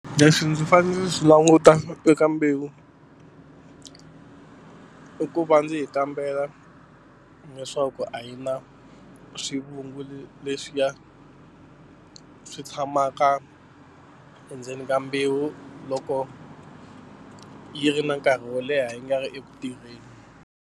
Leswi ndzi fanele ndzi swi languta eka mbewu i ku va ndzi yi kambela leswaku a yi na swivungu leswiya swi tshamaka endzeni ka mbewu loko yi ri na nkarhi wo leha yi nga ri eku tirheni.